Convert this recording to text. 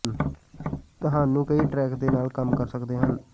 ਤੁਹਾਨੂੰ ਕਈ ਟਰੈਕ ਦੇ ਨਾਲ ਕੰਮ ਕਰ ਸਕਦੇ ਹਨ